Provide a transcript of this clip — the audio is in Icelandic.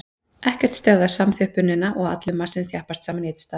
Ekkert stöðvar samþjöppunina og allur massinn þjappast saman í einn stað.